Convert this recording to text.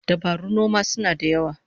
Dabarun noma suna da yawa